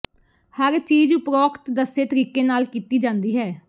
ਹਰ ਚੀਜ ਉਪਰੋਕਤ ਦੱਸੇ ਤਰੀਕੇ ਨਾਲ ਕੀਤੀ ਜਾਂਦੀ ਹੈ